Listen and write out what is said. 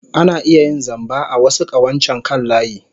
Ana iya yin zamba a wasu ƙawancen kan layi.